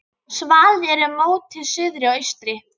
Svalir eru móti suðri og austri.